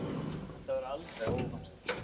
Þetta var alveg óvart.